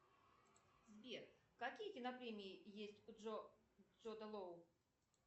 сбер какие кинопремии есть у джуда лоу